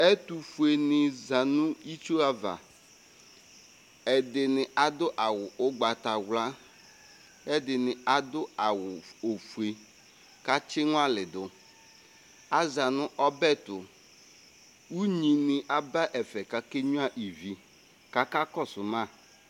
ɛtofue ni za no itsu ava ɛdini ado awu ugbata wla k'ɛdini ado awu ofue k'atsi ŋuali do aza no ɔbɛto unyi ni aba ɛfɛ k'ake nyua ivi k'aka kɔsu ma